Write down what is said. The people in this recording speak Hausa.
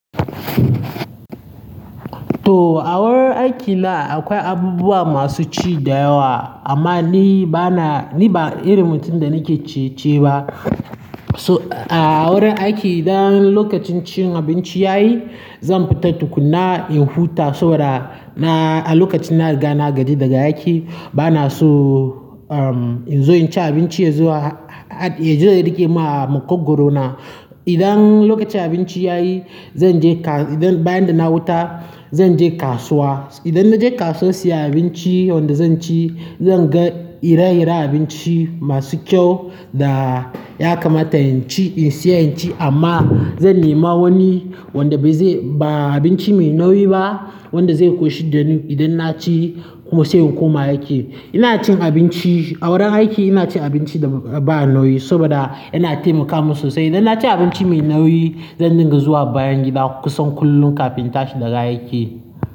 To a wurin aiki na akwai abubuwa masu ci da yawa, amma ni bana, ni ba irin mutum da nake ciye-ciye ba. So a wurin aiki idan lokacin cin abinci ya yi, zan fita tukunna in huta saboda na a lokacin na gana gaji daga aiki. Bana so in zo in ci abinci yazo ya rike mu a makogwaro na. Idan lokacin abinci ya yi, zan je kas-- idan bayan da na huta zan je kasuwa. Idan na je kasuwa siyan abinci wanda zan ci, zan ga ire-iren abinci masu kyau da ya kamata in ci, in siya in ci amma zan nima wani wanda bai zai ba abinci mai nauyi ba wanda zai ƙoshi da ni idan na ci sai in koma aiki. Ina cin abinci a wurin aiki ina cin abinci da ba nauyi saboda yana taimaka min sosai. Idan na ci abinci mai nauyi, zan dinga zuwa bayan gida kusan kullum kafin in tashi daga aiki.